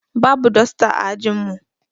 Babu dosta ã ajin mu.